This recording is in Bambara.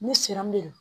Ne siran de do